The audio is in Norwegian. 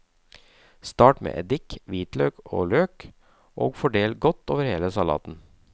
Start med eddik, hvitløk, løk og fordel godt over hele salaten.